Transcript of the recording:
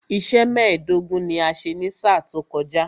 Iṣẹ́ mẹ́ẹ̀dógún ni a ṣe ní sáà tó kọjá